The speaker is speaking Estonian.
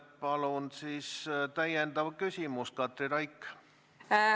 Palun täpsustav küsimus, Katri Raik!